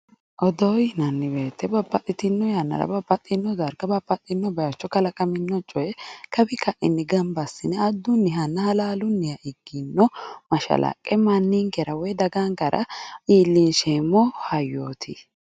odoo yinanni woyte babbaxxitino yannara babbaxxino darga babbaxxino bayiicho kalaqamino coye kawi ka'i coyee gamba assine addunnihanna halaalunniha ikkino mashalaqqe mannikkera woy dagankera iillinsheemmo hayyooti .